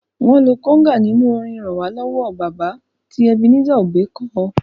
Wọn lo kóngà nínú orin "ràn wá lọ́wọ́ baba" tí Ebenezer Obey ko.